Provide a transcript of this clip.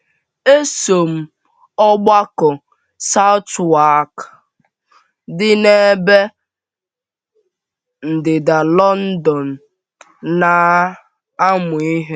Eso m Ọgbakọ Southwark dị n’ebe ndịda London na - amụ ihe.